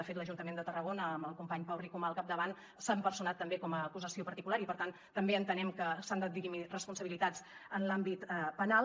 de fet l’ajuntament de tarragona amb el company pau ricomà al capdavant s’ha personat també com a acusació particular i per tant també entenem que s’han de dirimir responsabilitats en l’àmbit penal